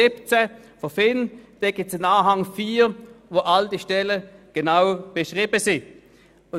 In dessen Anhang 4 sind alle Stellen genau beschrieben sind.